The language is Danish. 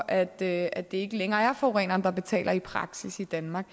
at det at det ikke længere er forureneren der betaler i praksis i danmark